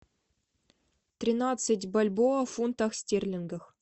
тринадцать бальбоа в фунтах стерлингах